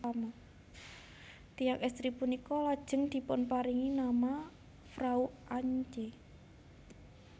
Tiyang estri punika lajeng dipunparingi nama Frau Antje